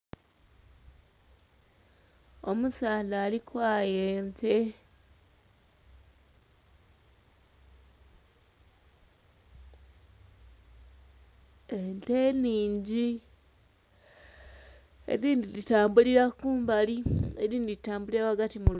Omusaadha ali kwaaya ente. Ente ningi. Edindi di tambulira kumbali edindi ditambulira wagati mu luguudo